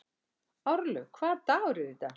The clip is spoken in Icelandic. Árlaug, hvaða dagur er í dag?